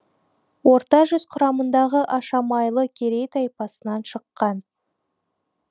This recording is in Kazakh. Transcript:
орта жүз құрамындағы ашамайлы керей тайпасынан шыққан